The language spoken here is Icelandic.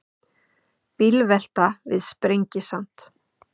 Bílvelta við Sprengisand